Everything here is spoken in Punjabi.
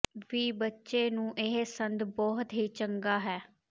ਵੀ ਬੱਚੇ ਨੂੰ ਇਹ ਸੰਦ ਬਹੁਤ ਹੀ ਚੰਗਾ ਹੈ